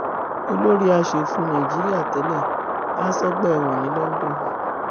olórí asòfin nàìjíríà tẹlẹ há sọgbà ẹwọn ní london